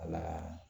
Wala